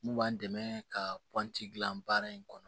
N'u b'an dɛmɛ ka gilan baara in kɔnɔ